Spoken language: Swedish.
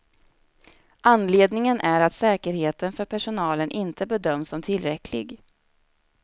Anledningen är att säkerheten för personalen inte bedöms som tillräcklig.